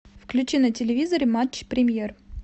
включи на телевизоре матч премьер